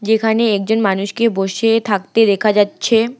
এখানে একজন মানুষকে বসে থাকতে দেখা যাচ্ছে।